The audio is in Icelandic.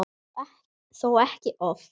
Þó ekki oft.